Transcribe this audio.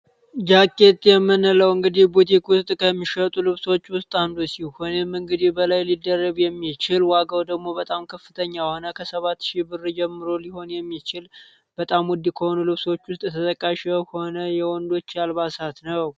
ጃኬት የምንለውን እንግዲህ ቡቲክ ውስጥ የሚሸጡ ልብሶች ውስጥ አንዱ ሲሆን፤ ይህም እንግዲህ ከላይ ሊደረብ የማይችሉ ዋጋው ደግሞ በጣም ከፍተኛ የሆነ ከ 7 ሺህ ብር ጀምሮ ሊሆን የሚችል በጣም ውድ ከሆኑ ልብሶች ውስጥ ተጠቃሹ ሆነ የወንዶች አልባሳት ነው።